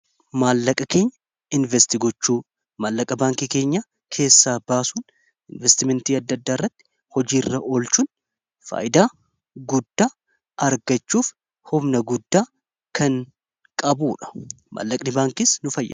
Maallaqa keenya invest gochuu maallaqa baankii keenya keessaa baasuun investimentii adda addaa irratti hojii irra olchuun faayidaa guddaa argachuuf humna guddaa kan qabu dha.